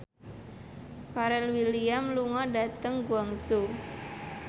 Pharrell Williams lunga dhateng Guangzhou